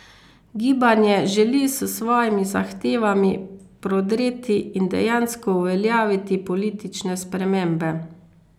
Gibanje želi s svojimi zahtevami prodreti in dejansko uveljaviti politične spremembe.